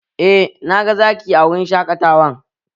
Eh, na ga Zaki a wurin shaƙatawan